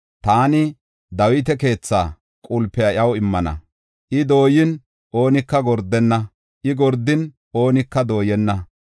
Taani Dawita keethaa qulpiya iyaw immana; I dooyin oonika gordenna; I gordin oonika dooyenna.